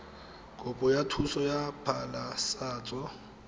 kopo ya thuso ya phasalatso